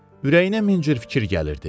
Ürəyinə min cür fikir gəlirdi.